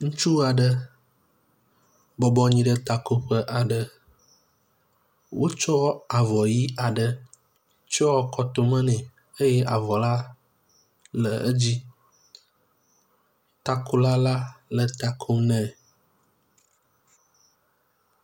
Ŋutsu aɖe bɔbɔnyi ɖe takoƒe aɖe, wotsɔ avɔ ɣi aɖe tsɔ kɔtome nɛ eye avɔla le edzi. Takola la le takom nɛ.